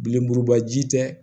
Bilenmuruba ji tɛ